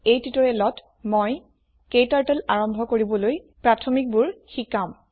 এই টিউটৰিয়েলত মই ক্টাৰ্টল আৰম্ভ কৰিবলৈ প্ৰাথমিকবোৰ শিকাম